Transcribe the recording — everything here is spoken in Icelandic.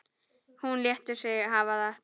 Hún lætur sig hafa þetta.